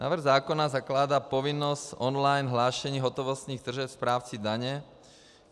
Návrh zákona zakládá povinnost online hlášení hotovostních tržeb správci daně.